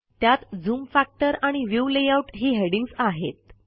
त्यात zoom factor आणि view layout ही हेडिंग्ज आहेत